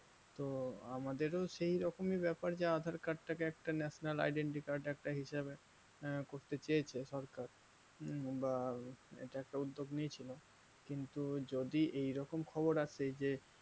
তো আমাদের সেইরকমই ব্যাপার যা aadhaar card তাকে একটা national identity card একটা হিসেবে আঃ করতে চেয়েছে সরকার উম বা এটা একটা উদ্যোগ নিয়েছিল কিন্তু যদি এই রকম খবর আসে যে